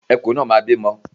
Ẹkùn náà máa bímọ.